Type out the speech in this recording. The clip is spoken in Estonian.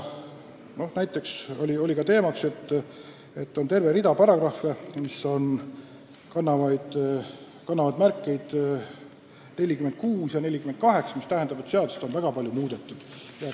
Istungil märgiti, et on terve rida paragrahve, näiteks paragrahvid 46 ja 48, kus on kasutatud väga palju ülaindekseid, mis näitab, et seadust on palju muudetud.